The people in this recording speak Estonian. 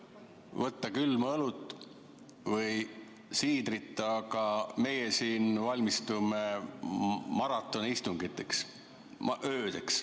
... võtta külma õlut või siidrit, aga meie siin valmistume maratonistungiteks, öödeks.